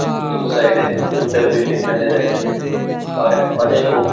দু সাইড -এ দুটা বিল্ডিং নজর আসছে র অনেকো--